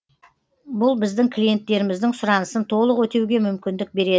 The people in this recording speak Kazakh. бұл біздің клиенттеріміздің сұранысын толық өтеуге мүмкіндік береді